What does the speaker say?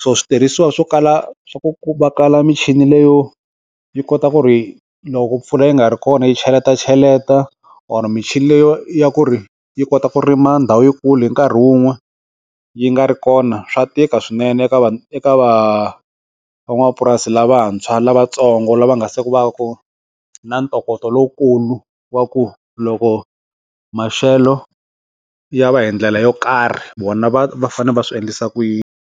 swo switirhisiwa swo kala swa ku va kala michini leyo yi kota ku ri loko mpfula yi nga ri kona yi cheleta cheleta or michini leyi ya ku ri yi kota ku rima ndhawu yikulu hi nkarhi wun'we yi nga ri kona swa tika swinene eka va eka va va n'wapurasi lavantshwa lavatsongo lava nga se va ku na ntokoto lowukulu wa ku loko maxelo ya va hindlela yo karhi vona va va fane va swiendlisa ku yini.